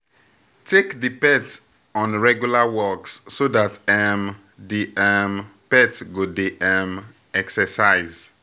Engage with interactive play with di pet, pet, like throwing balls and odas